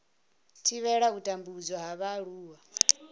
thivhela u tambudzwa ha vhaaluwa